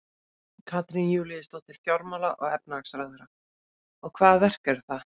Katrín Júlíusdóttir, fjármála-og efnahagsráðherra: Og, hvaða verk eru það?